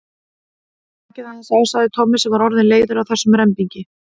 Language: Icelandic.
Slakið aðeins á sagði Tommi sem var orðinn leiður á þessum rembingi.